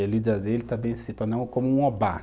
E a lida deles também se tornou como um obá.